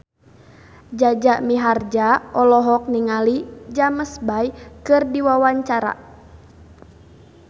Jaja Mihardja olohok ningali James Bay keur diwawancara